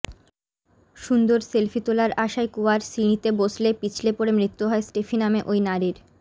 সুন্দর সেলফি তোলার আশায় কুয়ার সিঁড়িতে বসলে পিছলে পড়ে মৃত্যু হয় স্টেফি নামে ওই নারীর